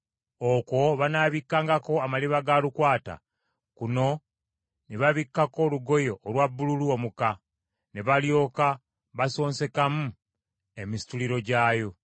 Okwo banaabikkangako amaliba ga lukwata, kuno ne babikkako olugoye olwa bbululu omuka, ne balyoka basonsekamu emisituliro gyayo.